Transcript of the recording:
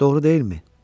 Doğru deyilmi?